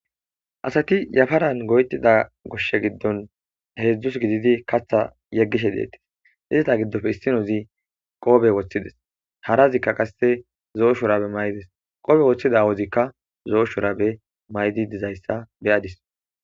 asati yafaran goytida goshshe giddon heedzdzus gididi katha yeggishe deettes izta giddofe issinozi qoobe woththides harazikka qasse zoo shorabe may7des qobe woththida wozikka zo7o shorabe maydi dizayssa beyadis